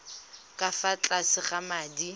ka fa tlase ga madi